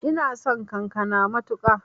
Ina son kakana matuƙa